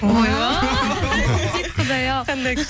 ойбай құдай ау